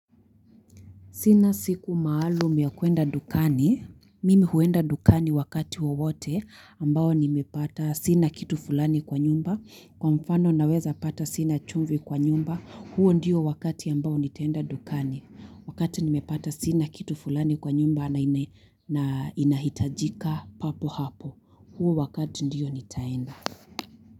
Sina siku maalum ya kuenda dukani. Mimi huenda dukani wakati wowote ambao nimepata sina kitu fulani kwa nyumba. Kwa mfano naweza pata sina chumvi kwa nyumba. Huo ndio wakati ambao nitaenda dukani. Wakati nimepata sina kitu fulani kwa nyumba na inahitajika papo hapo. Huu wakati ndiyo nitaenda.